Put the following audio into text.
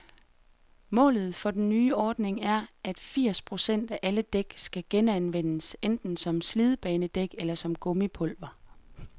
Målet for den nye ordning er, at firs procent af alle dæk skal genanvendes, enten som slidbanedæk eller som gummipulver.